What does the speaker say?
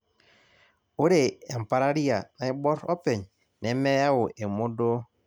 Ore empararia naiborr openy nemeyau emodoo.